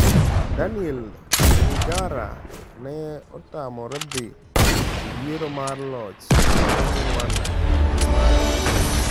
Diane Rwigara ne otamore dhi e yiero mar loch e piny Rwanda e dwe mar aboro.